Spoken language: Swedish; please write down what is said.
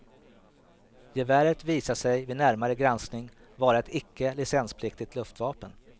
Geväret visade sig vid närmare granskning vara ett icke licenspliktigt luftvapen.